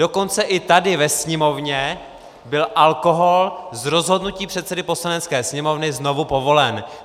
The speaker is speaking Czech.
Dokonce i tady ve sněmovně byl alkohol z rozhodnutí předsedy Poslanecké sněmovny znovu povolen.